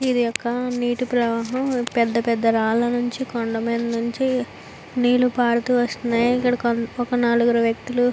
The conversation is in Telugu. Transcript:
ఇది ఒక నీటి ప్రవాహం పెద్ధ పెద్ధ రాళ్ళ మీద నుంచి కొండ మీద నుంచి నీళ్ళు పారుతూ వస్తున్నాయి ఇక్కడ ఒక నలుగురు వ్యక్తులు --